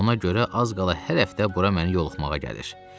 Ona görə az qala hər həftə bura məni yoxlamağa gəlir.